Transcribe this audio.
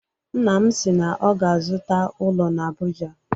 Nna m si na ọ ga-azụta ụlọ na Abuja